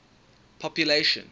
population